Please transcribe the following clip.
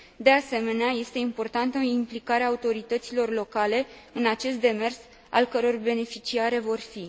De asemenea, este importantă implicarea autorităților locale în acest demers, ale cărui beneficiare vor fi.